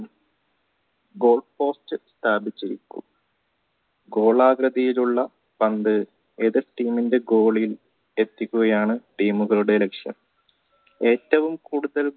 ഗോളാകൃതിയിലുള്ള പന്ത് എതിർ team ണ്ടെ goal ഇൽ എത്തിക്കുകയാണ് team മുകളുടെ ലക്ഷ്യം ഏറ്റവും കൂടുതൽ